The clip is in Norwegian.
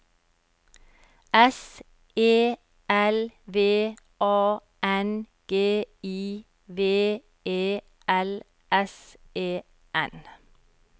S E L V A N G I V E L S E N